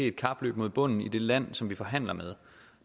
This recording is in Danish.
et kapløb mod bunden i det land som vi forhandler med